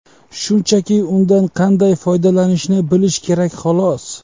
Shunchaki undan qanday foydalanishni bilish kerak, xolos.